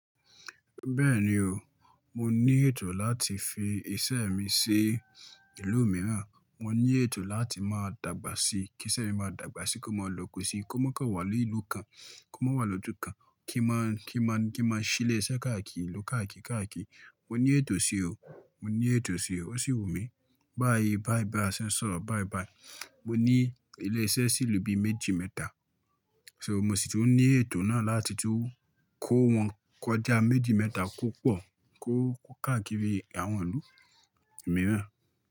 Bẹ́ẹ̀ni o, mo ní ètò láti fi iṣẹ́ mi sí ìlú mìíràn. Mo ní ètò láti máa dàgbà sí, kí iṣẹ́ mi máa dàgbà sí, kó máa lòkè sí, kó má kàn wà ní ìlú kan, kó má wà lójú kan, kí má, kí má, kí má ṣí ilé iṣẹ́ káàkiri ìlú káàkiri káàkiri. Mo ní ètò sí o, mo ní ètò sí o. Ó sì wù mí. Báyìí báyìí bá ṣe ń sọ̀rọ̀ báyìí báyìí. Mo ní ilé iṣẹ́ sí ìlú bí méjì mẹ́ta, so mo sì tún ní ètò náà láti tún kó wọn kọjá méjì mẹ́ta kó pọ̀, kó káàkiri àwọn ìlú mìíràn.